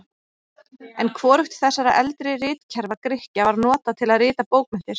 En hvorugt þessara eldri ritkerfa Grikkja var notað til að rita bókmenntir.